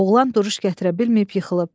Oğlan duruş gətirə bilməyib yıxılıb.